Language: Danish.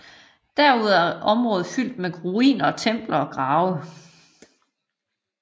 Herudover er området fyldt med ruiner af templer og grave